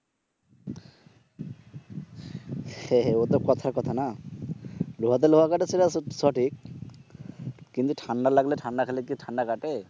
হ্যাঁ ওটা কথার কথা না লোহাতে লোহা কাটে সেটা সঠিক কিন্তু ঠান্ডা লাগলে ঠান্ডা খেলে কি ঠান্ডা কাটে?